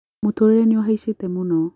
Mũtũrĩre nĩ ũhaicĩte mũno.